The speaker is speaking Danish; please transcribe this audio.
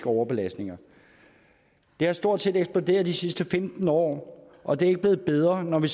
overbelastninger det er stort set eksploderet de sidste femten år og det er ikke blevet bedre når det